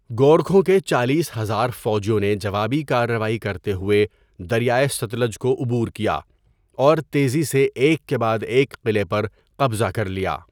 گورکھوں کے چالیس ہزار فوجیوں نے جوابی کارروائی کرتے ہوئے دریائے ستلج کو عبور کیا اور تیزی سے ایک کے بعد ایک قلعے پر قبضہ کر لیا.